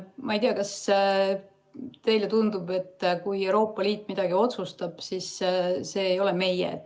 Ma ei tea, kas teile tundub, et kui Euroopa Liit midagi otsustab, siis see ei ole meie.